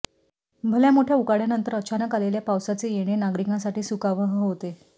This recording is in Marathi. भल्यामोठ्या उकाड्यानंतर अचानक आलेल्या पावसाचे येणे नागरिकांसाठी सुखावह होते